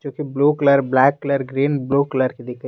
जोकि blue colour black colour green blue colour --